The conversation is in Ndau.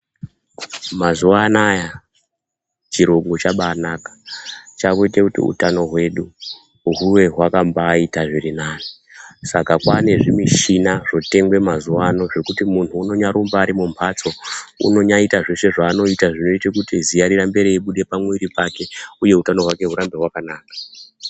Ma zuva anaya chirungu chakabai naka chakuite utano hwedu huwe hwaka mbai ita zviri nane saka kwane zvi mishini zvotengwe mazuva ano zvekuti munhu unombai nya rumba ari mu mhatso unonyaita zvese zvaanoita zvinoite kuti ziya rirambe rei buda pa mwiri pake uye hutano hwake hurambe rwakanaka.